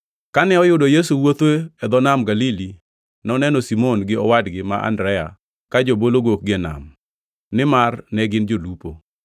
Kane oyudo Yesu wuotho e dho Nam Galili, noneno Simon gi owadgi ma Andrea ka jobolo gokgi e nam, nimar ne gin jolupo.